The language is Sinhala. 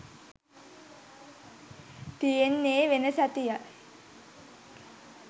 තියෙන්නේ වෙන සතියක්.